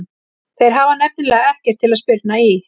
Þeir hafa nefnilega ekkert til að spyrna í.